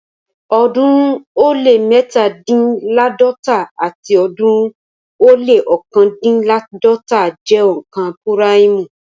ọ̀ọ́dúnrún ó lé mẹ́tándínláàdọ́ta àti ọ̀ọ́dúnrún ó lé ọ̀kándínláàdọ́ta jẹ́ òǹkà púráìmù